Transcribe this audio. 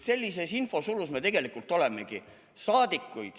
" Sellises infosulus me tegelikult olemegi.